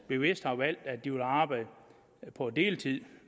bevidst har valgt at de vil arbejde på deltid